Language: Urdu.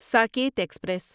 ساکیت ایکسپریس